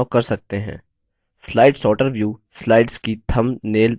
slide sorter view slides की thumbnail बताता है